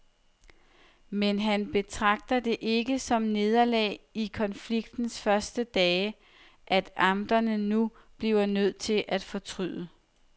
Men han betragter det ikke som nederlag i konfliktens første dage, at amterne nu bliver nødt til at fortryde.